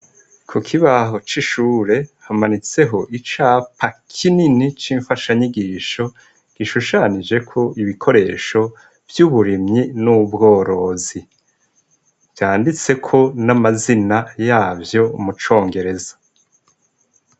Kukibaho c’ishure hamanitseho icapa kinini cinfasha nyigisho gishushanijeko ibikoresho vyuburimyi n’ubworozi, vyanditseko namazina yavyo mucongereza.